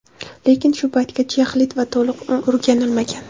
Lekin shu paytgacha yaxlit va to‘liq o‘rganilmagan.